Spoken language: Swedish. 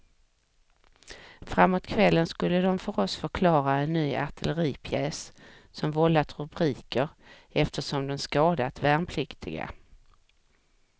Framåt kvällen skulle de för oss förklara en ny artilleripjäs som vållat rubriker eftersom den skadat värnpliktiga.